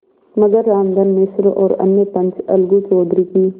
मगर रामधन मिश्र और अन्य पंच अलगू चौधरी की